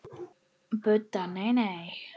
Budda: Nei, nei.